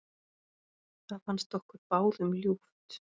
Það fannst okkur báðum ljúft.